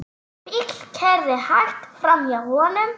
Bíll keyrði hægt framhjá honum.